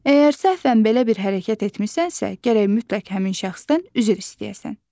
Əgər səhvən belə bir hərəkət etmisənsə, gərək mütləq həmin şəxsdən üzr istəyəsən.